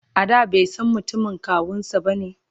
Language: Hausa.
a da baisan mutumin kawunsa bane?